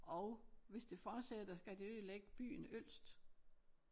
Og hvis det fortsætter så kan det ødelægge byen Ølst